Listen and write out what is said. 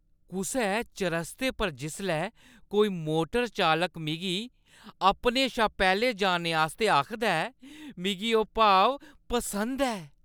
कुसै चरस्ते पर जिसलै कोई मोटर चालक मिगी अपने शा पैह्‌लें जाने आस्तै आखदा ऐ, मिगी ओह् भाव पसंद ऐ